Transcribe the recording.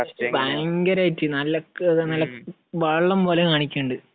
ഭയങ്കരമായിട്ട്. നല്ല വെള്ളം പോലെ കാണിക്കുന്നുണ്ട്.